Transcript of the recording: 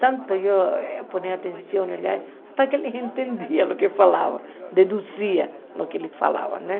Tanto eu dei atenção, aliás, só que ninguém entendia o que falava, deduzia o que ele falava, né?